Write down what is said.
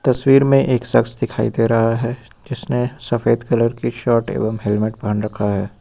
तस्वीर में एक शख्स दिखाई दे रहा है जिसने सफेद कलर की शर्ट एवं हेलमेट पहन रखा है।